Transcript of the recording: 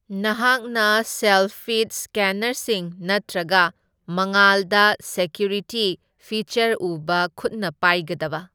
ꯅꯍꯥꯛꯅ self feed ꯁ꯭ꯀꯦꯟꯅꯔꯁꯤꯡ ꯅꯠꯇ꯭ꯔꯒ ꯃꯉꯥꯜꯗ ꯁꯦꯀ꯭ꯌꯨꯔꯤꯇꯤ ꯐꯤꯆꯔ ꯎꯕ ꯈꯨꯠꯅ ꯄꯥꯏꯒꯗꯕ꯫